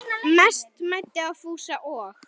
Mest mæddi á Fúsa og